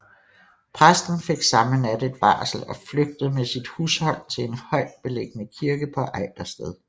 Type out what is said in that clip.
Præsten fik samme nat et varsel og flygtede med sit hushold til en højt beliggende kirke på Ejdersted